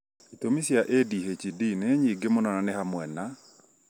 itũmi cia ADHD nĩ nyingĩ mũno na nĩ hamwe na: